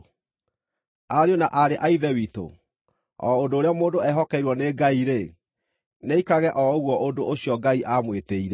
Ariũ na aarĩ a Ithe witũ, o ũndũ ũrĩa mũndũ eehokeirwo nĩ Ngai-rĩ, nĩaikarage o ũguo ũndũ ũcio Ngai aamwĩtĩire.